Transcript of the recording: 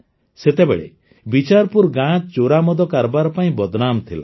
ସେତେବେଳେ ବିଚାରପୁର ଗାଁ ଚୋରାମଦ କାରବାର ପାଇଁ ବଦନାମ ଥିଲା